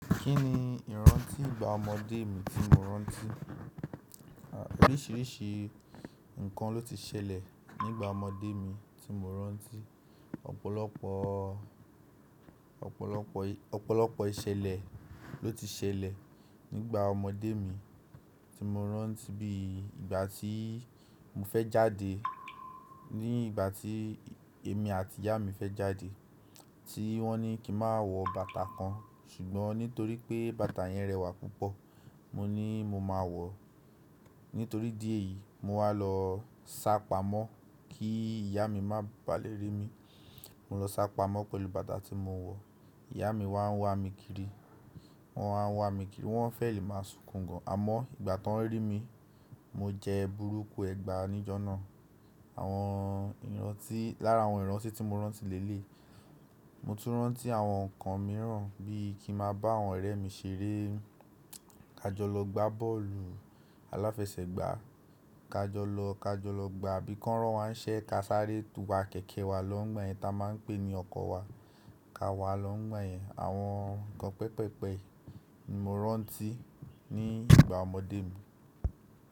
Kí ni ìrántí ìgbà ọmọdé mi tí mo rántí? Oríṣiríṣi nǹkan ló ti ṣẹlẹ̀ nígbà ọmọdé mi tí mo rántí. Ọ̀pọ̀lọpọ̀, ọ̀pọ̀lọpọ̀, ọ̀pọ̀lọpọ̀ ìṣẹ̀lẹ̀ ló ti ṣẹlẹ̀ nígbà ọmọdé mi tí mo rántí bí ìgbà tí mo fẹ́ jáde, ní ìgbà tí èmi àti ìyá mi fẹ́ jáde tí wọ́n ní kí n má wọ bàtà kan ṣùgbọ́n nítorí pé bàtà yẹn rẹwà púpọ̀ mo ní mo máa wọ̀ ọ́. Nítorí idi eyìí mo wá lọ sá pamọ́ kí ìyá mi má bà lè rí mi. Mo lọ sá pamọ́ pẹ̀lú bàtà tí mo wọ̀ ọ́. Ìyá mi wá ń wá mi kiri, wọ́n wá ń wá mi kiri, wọ́n fẹ́ẹ̀ lè máa sunkùn gan. Àmọ́ ìgbà ti won rí mi, mo jẹ burúkú ẹgba níjọ́ náà. Àwọn iranti, lára àwọn iranti ti mo rántí l'eleyii. Mo tún rántí àwọn nǹkan mìíràn bí i kí n ma bá àwọn ọ̀rẹ́ mi ṣeré, ka jọ lọ gbá bọ́ọ̀lù aláfẹsẹ̀gbá, ka jọ lọ, ka jọ lọ gba, bí ki won ràn wà niṣẹ, ka sáré tu wa kẹ̀kẹ́ wa lọ́ ńigba yẹn ta máa ń pè ní ọkọ̀ wa, ka wà lọ́ ńigba yẹn. Àwọn nǹkan pẹpẹpẹ ni mo rántí ní ìgbà ọmọdé mi.